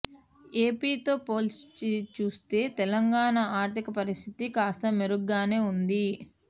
AP తో పోల్చి చూస్తే తెలంగాణ ఆర్థిక పరిస్థితి కాస్త మెరుగ్గానే ఉంది